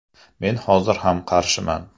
Men hozir ham qarshiman.